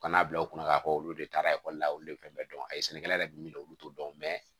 Ka n'a bila u kunna k'a fɔ olu de taara ekɔli la olu de fɛn bɛɛ dɔn a ye sɛnɛkɛla yɛrɛ bɛ min dɔn olu t'o dɔn